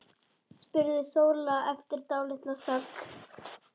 spurði Sóla eftir dálitla þögn.